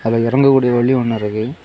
அதுல இறங்கக்கூடிய வழி ஒன்னு இருக்கு.